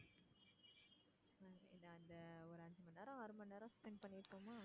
என்ன அங்க ஒரு அஞ்சு மணி நேரம், ஆறு மணி நேரம் spend பண்ணிருப்போமா?